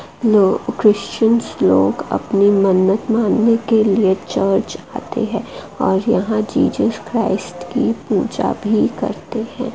जो क्रिश्चियन लोग अपनी मन्नत मानने के लिए चर्च आते हैं और यहां जीसस क्राइस्ट की पूजा भी करते हैं।